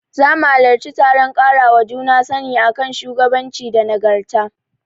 Zamu halarci taron ƙarawa juna sani a kan shugabanci da nagarta.